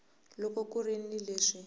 loko ku ri ni leswi